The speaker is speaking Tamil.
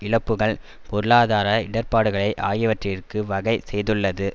இழப்புக்கள் பொருளாதார இடர்ப்பாடுகளை ஆகியவற்றிற்கு வகை செய்துள்ளது